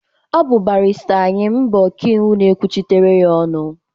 Ọ bụ barịsta Ayịm bụ ọka iwu na-ekwuchitere ya ọnụ.